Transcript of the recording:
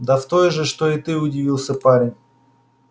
да с той же что и ты удивился парень